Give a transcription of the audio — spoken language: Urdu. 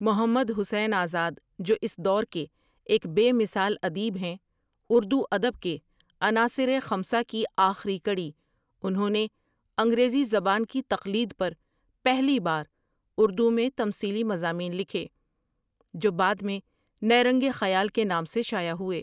محمد حسین آزاد جو اس دور کے ایک بے مثال ادیب ہیں اردو ادب کے عناصرِ خمسہ کی آخری کڑی انھوں نے انگریزی زبان کی تقلید پر پہلی بار اردو میں تمثیلی مضامین لکھے جو بعد میں نیرنگِ خیال کے نام سے شاۂع ہوئے ۔